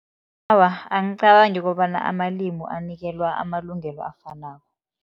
Awa, angicabangi kobana amalimi anikelwa amalungelo afanako.